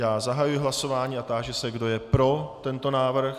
Já zahajuji hlasování a táži se, kdo je pro tento návrh.